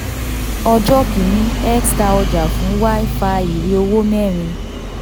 ọjọ́ kìíní x ta ọjà fún y fa ìwé owó mẹ́rin